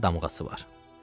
Əlində damğası var.